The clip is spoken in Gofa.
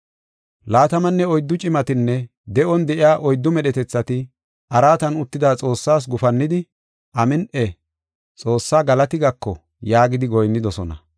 Laatamanne oyddu cimatinne de7on de7iya oyddu medhetethati araatan uttida Xoossaas gufannidi, “Amin7i! Xoossa galati gako” yaagidi goyinnidosona.